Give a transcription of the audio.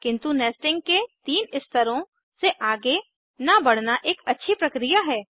किन्तु नेस्टिंग के तीन स्तरों से आगे न बढ़ना एक अच्छी प्रक्रिया है